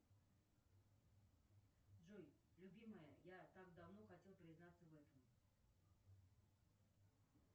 джой любимая я так давно хотел признаться в этом